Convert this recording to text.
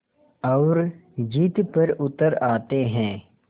और ज़िद पर उतर आते हैं